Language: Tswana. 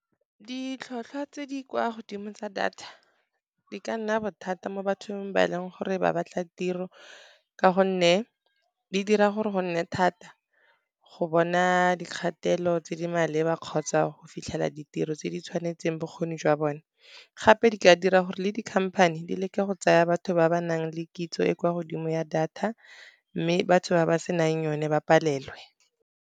Ditlhotlhwa tse di kwa godimo tsa data di ka nna bothata mo bathong ba e leng gore ba batla tiro. Ka gonne di dira gore go nne thata go bona dikgatelo tse di maleba, kgotsa go fitlhela ditiro tse di tshwanetseng bokgoni jwa bone. Gape di ka dira gore le di-company di leke go tsaya batho ba ba nang le kitso, e kwa godimo ya data mme batho ba ba se nang yone ba palelwe.